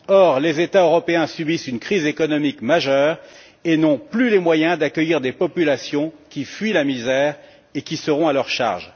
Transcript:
Or, les États européens subissent une crise économique majeure et n'ont plus les moyens d'accueillir des populations qui fuient la misère et qui seront à leur charge.